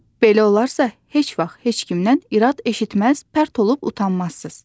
Belə olarsa, heç vaxt heç kimdən irad eşitməz, pərt olub utanmazsız.